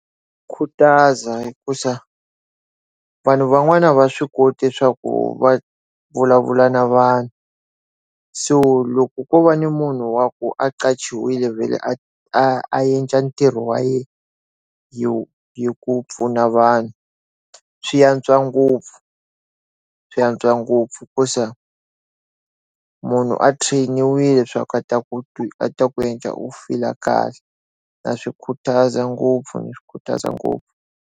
Khutaza hikusa, vanhu van'wani a va swi koti swa ku va vulavula na vanhu. So loko ko va ni munhu wa ku a a qachiwe a a endla ntirho wa yena hi hi ku pfuna vanhu swi antswa ngopfu, swi antswa ngopfu. Hikuva munhu a train-niwile swa ku a ta ku ta ku endla u feel-a kahle. Na swi khutaza ngopfu ni khutaza ngopfu.